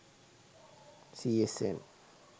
csn